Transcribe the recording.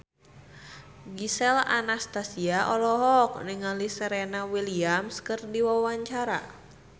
Gisel Anastasia olohok ningali Serena Williams keur diwawancara